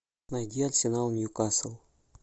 найди арсенал ньюкасл